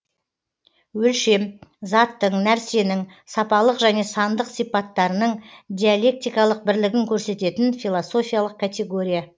өлшем заттың нәрсенің сапалық және сандық сипаттарының диалектикалық бірлігін көрсететін философиялық категория